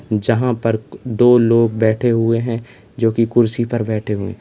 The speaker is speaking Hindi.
जहां पर दो लोग बैठे हुए हैं जोकि कुर्सी पर बैठे हुए--